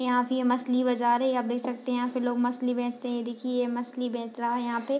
यहाँ पे ये मछली बाजार है आप देख सकते हैं यहाँ पर लोग मछली बेचते हैं ये देखिये ये मछली बेच रहा है यहाँ पे।